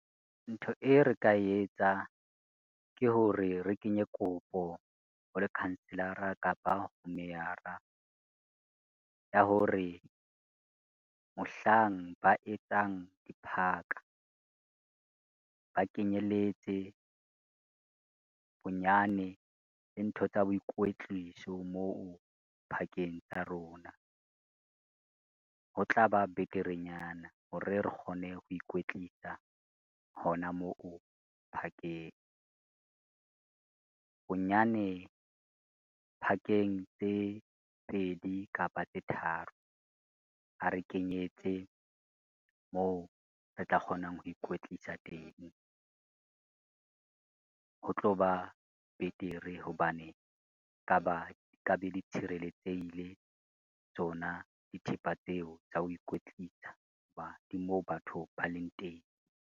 Ntho e re ka etsang ke hore re kenye kopo ho lekhanselara kapa ho meyara, ya hore mohlang ba etsang diphaka, ba kenyelletse bonyane le ntho tsa boikwetliso moo phakeng tsa rona. Ho tla ba beterenyana hore re kgone ho ikwetlisa hona moo phakeng, bonyane phakeng tse pedi kapa tse tharo, ba re kenyetse moo re tla kgonang ho ikwetlisa teng. Ho tlo ba betere hobane ka ba di ka be di tshireletsehile tsona dithepa tseo tsa ho ikwetlisa ho ba di moo batho ba leng teng.